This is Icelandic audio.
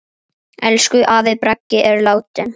Elsku afi Bragi er látinn.